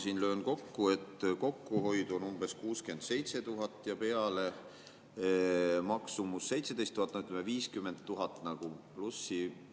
Kui ma löön kokku, et kokkuhoid on umbes 67 000 ja natuke peale, maksumus 17 000, no ütleme, 50 000 nagu plussi.